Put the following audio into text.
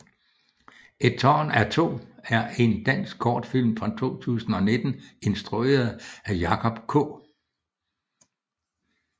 Et tårn af to er en dansk kortfilm fra 2019 instrueret af Jacob K